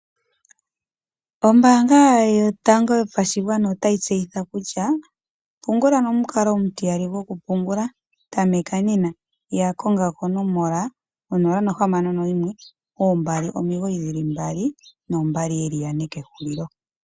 Ombaanga yotango yopashigwana otayi tseyitha kutya pungula nomikalo omutiyali gwokupungula tameka nena yakonga konomola 0612992222 kehulilo.